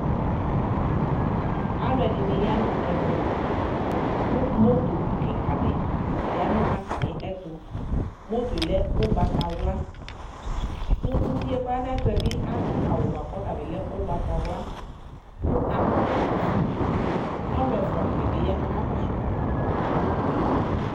Alɔde ne ya no ɛvɛ ko moto kika de ya no atane ɛto Motoɛ lɛ ugbatawla ko uvie kɔ ya no ayetoɛ be ado awu boako ɔta be lɛ ugbatawla ko akɔ ɛkɔtɔfueAlu ɛfua de ne be ya ko aka kɔso